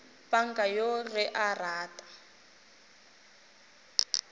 panka yoo ge a rata